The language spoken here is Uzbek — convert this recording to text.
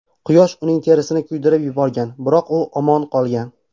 Quyosh uning terisini kuydirib yuborgan, biroq u omon qolgan.